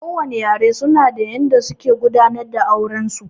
Kowane yare su na da yanda suke gudanar da auren su